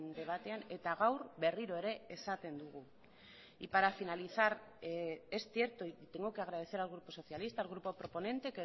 debatean eta gaur berriro ere esaten dugu y para finalizar es cierto y tengo que agradecer al grupo socialista el grupo proponente